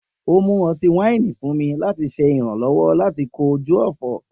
O mu ọti-waini fun mi, lati ṣe iranlọwọ lati koju ọfọ